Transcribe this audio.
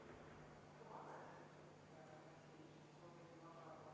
Ettepanek ei leidnud toetust.